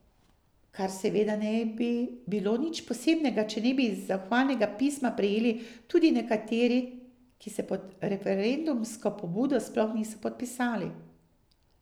Kar seveda ne bi bilo nič posebnega, če ne bi zahvalnega pisma prejeli tudi nekateri, ki se pod referendumsko pobudo sploh niso podpisali.